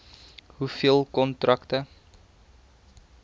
hoeveel kontrakte